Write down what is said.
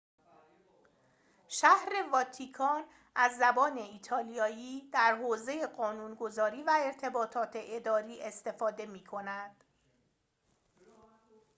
شهر واتیکان از زبان ایتالیایی در حوزه قانون‌گذاری و ارتباطات اداری استفاده می‌کند